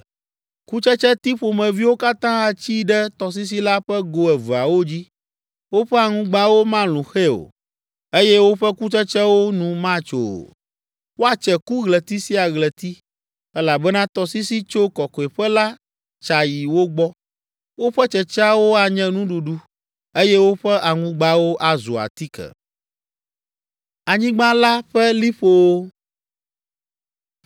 Kutsetseti ƒomeviwo katã atsi ɖe tɔsisi la ƒe go eveawo dzi. Woƒe aŋugbawo malũ xɛ o, eye woƒe kukutsetsewo nu matso o. Woatse ku ɣleti sia ɣleti, elabena tɔsisi tso kɔkɔeƒe la tsa yi wo gbɔ. Woƒe tsetseawo anye nuɖuɖu, eye woƒe aŋugbawo azu atike.”